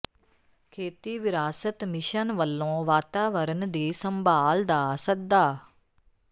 ਖੇਤੀ ਵਿਰਾਸਤ ਮਿਸ਼ਨ ਵੱਲੋਂ ਵਾਤਾਵਰਣ ਦੀ ਸੰਭਾਲ ਦਾ ਸੱਦਾ